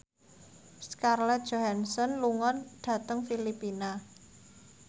Scarlett Johansson lunga dhateng Filipina